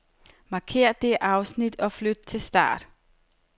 Markér dette afsnit og flyt til start.